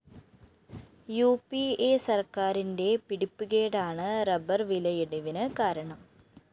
ഉ പി അ സര്‍ക്കാരിന്റെ പിടിപ്പുകേടാണ് റബ്ബർ വിലയിടിവിന് കാരണം